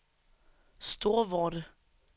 Storvorde